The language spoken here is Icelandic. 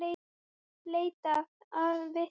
Leitað að vitnum vegna íkveikju